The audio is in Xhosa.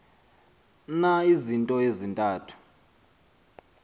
na izinto ezintathu